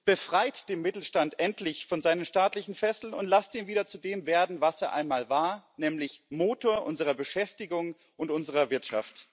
Befreit den Mittelstand endlich von seinen staatlichen Fesseln und lasst ihn wieder zu dem werden, was er einmal war, nämlich Motor unserer Beschäftigung und unserer Wirtschaft.